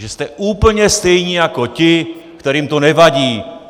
Takže jste úplně stejní jako ti, kterým to nevadí.